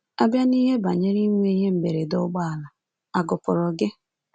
À bịa n’ihe banyere inwe ihe mberede ụgbọala, à gụpụrụ gị?